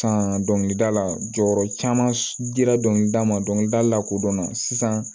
San dɔnkilida la jɔyɔrɔ caman dira dɔnkilida ma dɔnkilida lakodɔnna sisan